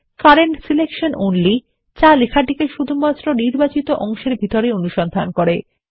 current selection only যা লেখাটিকে শুধু নির্বাচিত অংশের ভিতরেই অনুসন্ধান করে